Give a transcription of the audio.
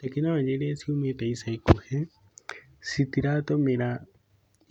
Tekinoronjĩ iria ciumĩte ica ikuhĩ, citiratũmĩra